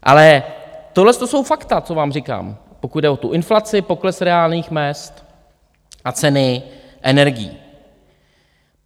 Ale tohle jsou fakta, co vám říkám, pokud jde o tu inflaci, pokles reálných mezd a ceny energií.